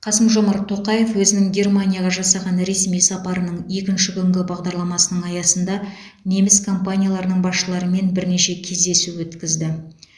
қасым жомарт тоқаев өзінің германияға жасаған ресми сапарының екінші күнгі бағдарламасының аясында неміс компанияларының басшыларымен бірнеше кездесу өткізді